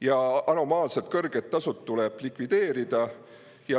ja anomaalselt kõrged tasud tuleb likvideerida.